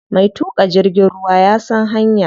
Mai tuƙa jirgin ruwa ya san hanya.